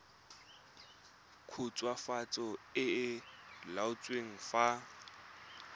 khutswafatso e e laotsweng fa